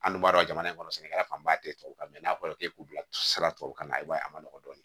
An dun b'a dɔn jamana in kɔnɔ sɛnɛkɛla fanba tɛ tubabu kan fɔra k'e k'u bilasira tubabu kan na i b'a ye a ma nɔgɔn dɔɔnin